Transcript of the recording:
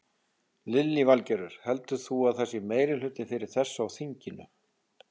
Lillý Valgerður: Heldur þú að það sé meirihluti fyrir þessu á þinginu?